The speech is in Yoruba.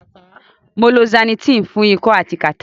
Mo lo Zanitin fun iko ati kata